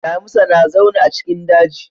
Damisa na zauna a cikin daji.